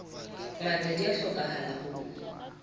ngata di a hlokahala ho